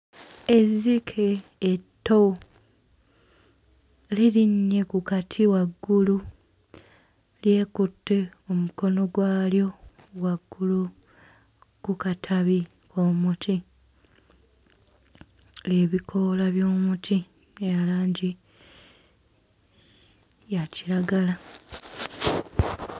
Ezzike etto lirinnye ku kati waggulu, lyekutte omukono gwalyo waggulu ku katabi k'omuti. Ebikoola by'omuti bya langi ya kiragala.